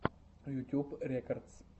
ютьюб рекодс